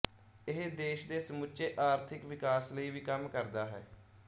ਇਹ ਦੇਸ਼ ਦੇ ਸਮੁੱਚੇ ਆਰਥਿਕ ਵਿਕਾਸ ਲਈ ਵੀ ਕੰਮ ਕਰਦਾ ਹੈ